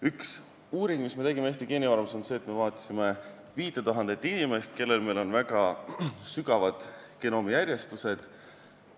Üks uuring, mis me tegime Eesti Geenivaramus, on see, et me vaatasime 5000 inimest, kellel meil on väga sügavad genoomijärjestused.